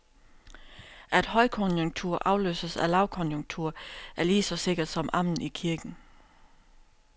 At højkonjunktur afløses af lavkonjunktur, er lige så sikkert som amen i kirken.